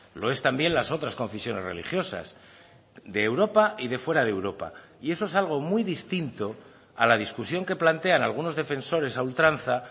lo es también las otras confesiones religiosas de europa y de fuera de europa y eso es algo muy distinto a la discusión que plantean algunos defensores a ultranza